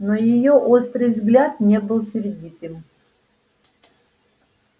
но её острый взгляд не был сердитым